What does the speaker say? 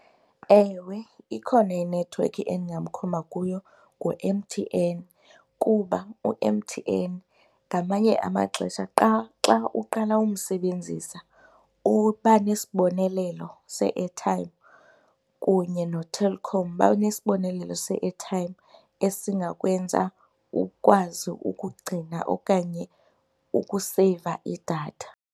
Ewe, ikhona inethiwekhi endingamkhomba kuyo ngu-M_T_N kuba u-M_T_N ngamanye amaxesha xa xa uqala ukumsebenzisa uba nesibonelelo se-airtime, kunye noTelkom, banesibonelelo se-airtime esingakwenza ukwazi ukugcina okanye ukuseyiva idatha.